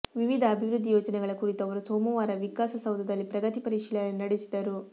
ವಿವಿಧ ಅಭಿವೃದ್ಧಿ ಯೋಜನೆಗಳ ಕುರಿತು ಅವರು ಸೋಮವಾರ ವಿಕಾಸಸೌಧದಲ್ಲಿ ಪ್ರಗತಿ ಪರಿಶೀಲನೆ ನಡೆಸಿದರು